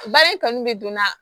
Baara in kanu bɛ donna